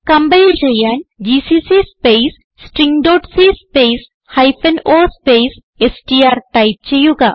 compile ചെയ്യാൻ GCC space stringസി space o space STR type ചെയ്യുക